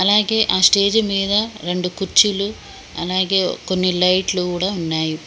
అలాగే ఆ స్టేజ్ మీద రెండు కుర్చీలు అలాగే కొన్ని లైట్లు కూడా ఉన్నాయి.